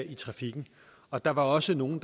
i trafikken og der var også nogle